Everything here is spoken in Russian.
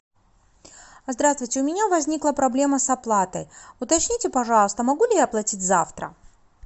здравствуйте у меня возникла проблема с оплатой уточните пожалуйста могу ли я оплатить завтра